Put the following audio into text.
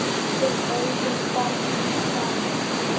Við eigum barn saman.